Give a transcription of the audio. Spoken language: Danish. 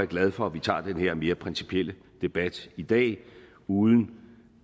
glad for at vi tager den her mere principielle debat i dag uden